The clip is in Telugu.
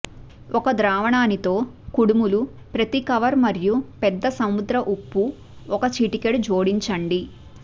ఒక ద్రావణాన్ని తో కుడుములు ప్రతి కవర్ మరియు పెద్ద సముద్ర ఉప్పు ఒక చిటికెడు జోడించండి